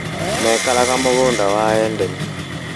Maikaraga mũgũnda wa Endeni